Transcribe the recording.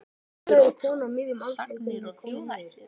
Oddur Oddsson: Sagnir og þjóðhættir.